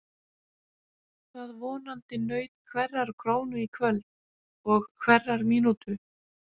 Það vonandi naut hverrar krónu í kvöld og hverrar mínútu.